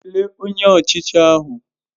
Kelee Onye Ọchịchị ahụ!